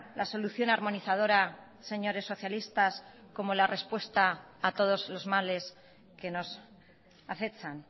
la solución armonizadora señores socialistas como la respuesta a todos los males que nos acechan